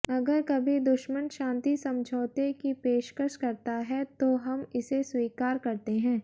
अगर कभी दुश्मन शांति समझाौते की पेशकश करता है तो हम इसे स्वीकार करते हैं